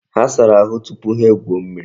Ha sara ahu tupu ha egwuo mmiri.